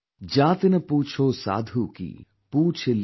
जातिनपूछोसाधूकी, पूछलिजियज्ञान